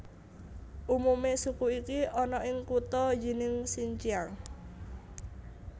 Umume suku iki ana ing kutha Yinning Xinjiang